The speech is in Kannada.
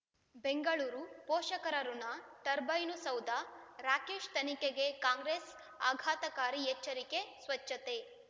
ಬೆಂಗಳೂರು ಪೋಷಕರಋಣ ಟರ್ಬೈನು ಸೌಧ ರಾಕೇಶ್ ತನಿಖೆಗೆ ಕಾಂಗ್ರೆಸ್ ಆಘಾತಕಾರಿ ಎಚ್ಚರಿಕೆ ಸ್ವಚ್ಛತೆ